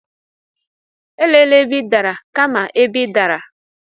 Elela ebe ị dara, kama ebe ị dara.